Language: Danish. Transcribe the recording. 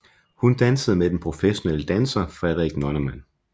Hun dansede med den professionelle danser Frederik Nonnemann